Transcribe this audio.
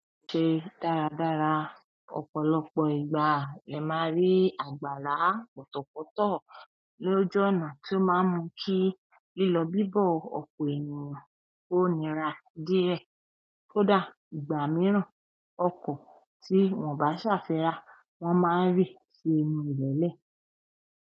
Ṣe dáradára, ọ̀pọ̀lọpọ̀ ìgbà, ẹ máa rí àgbàrá, pọtọ̀pọtọ̀ lójú ọ̀nà tó máa ń mú kí lílọ bíbọ̀ ọpọ̀ ènìyàn ó nira díẹ̀. Kódà ìgbà mìíràn, ọkọ̀ tí wọ́n bá ṣàfira, wọ́n máa n rí nínú ilẹ̀lẹ́.